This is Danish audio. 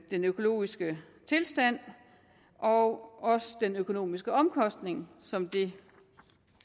den økologiske tilstand og også den økonomiske omkostning som det